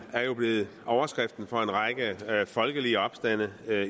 er jo blevet overskriften for en række folkelige opstande